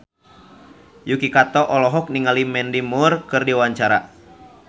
Yuki Kato olohok ningali Mandy Moore keur diwawancara